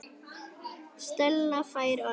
Stella fær orðið.